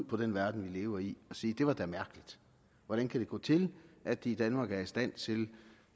på den verden vi lever i og sige det var da mærkeligt hvordan kan det gå til at de i danmark er i stand til